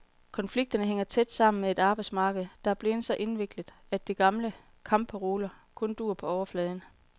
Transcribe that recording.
Konflikterne hænger tæt sammen med et arbejdsmarked, der er blevet så indviklet, at de gamle kampparoler kun duer på overfladen.